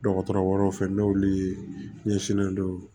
Dɔgɔtɔrɔ wɛrɛw fɛ n'olu ɲɛsinnen don